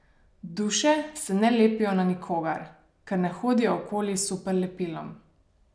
Duše se ne lepijo na nikogar, ker ne hodijo okoli s superlepilom.